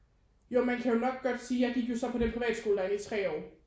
Jo man kan jo nok godt sige jeg gik jo så på den privatskole derinde i tre år